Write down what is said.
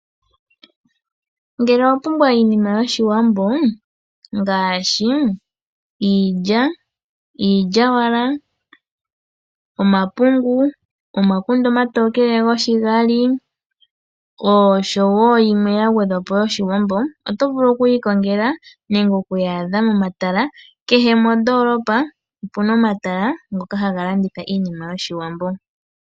Ngele owa pumbwa iinima yoshiwambo ngaashi iilya, iilya wala, omapungu, omakunde omatokele goshigali osho wo yimwe ya gwedhwapo yoshiwambo, oto vulu oku yi ikongela momatala, kehe mondoolopa omuna omatala ha ga landithwa iinima yo shiwambo.